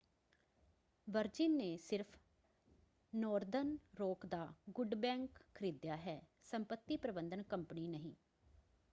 Virgin ਨੇ ਸਿਰਫ਼ Northern Rock ਦਾ ‘ਗੁੱਡ ਬੈਂਕ’ ਖਰੀਦਿਆ ਹੈ ਸੰਪਤੀ ਪ੍ਰਬੰਧਨ ਕੰਪਨੀ ਨਹੀਂਂ।